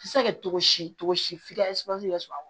Se kɛ cogo si cogo si f'i ka yɛrɛ sɔrɔ a kɔnɔ